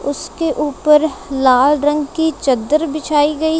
उसके ऊपर लाल रंग की चद्दर बिछाई गई--